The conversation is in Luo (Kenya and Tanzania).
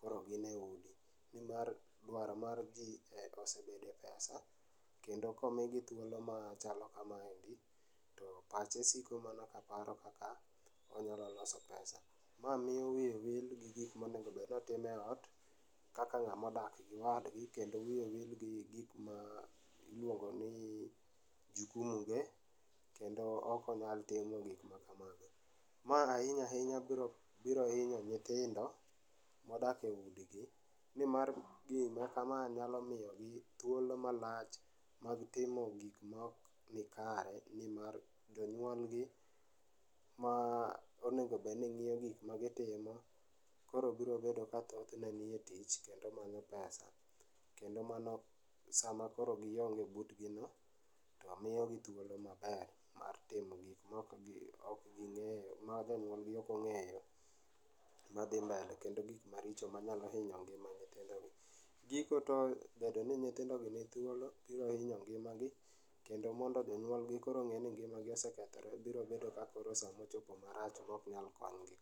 koro gine udi nimar dwaro mar jii osebedo e pesa kendo komigi thuolo ma chalo kamaendi to pache siko mana ka paro kaka onyalo loso pesa. Ma miyo wiye wil gi gik monego bedni timo e ot kaka ng'ato modak gi wadgi kendo wiye wil gi gik ma iluongo ni jukumu ge kendo ok onyal timo gik makamago. Ma ahinya ahinya biro hinyo nyithindo modak e udigi nimar gima kama nyalo miyogi thuolo malach mag timo gik maok nikare nimar jonyuol gi ma onego obed ni ng'iyo gik magitimo kor biro bedo ka thothne nie tich kendo manyo pesa kendo mano sama koro gionge butgi no to miyogi thuolo maber mar timo gik maok ok gingeyo, ma jonyuol gi ok ongeyo madhi mbele, kendo gik maricho manyalo hinyo ngima nyithindo go. Giko te bedo ni nyithind gi ni thuolo biro hino ngimagi kendo mondo jonyuol gi koro onge ni ngima gi osekethore biro bedo ka sama ochopo marach ma ok nyal konygi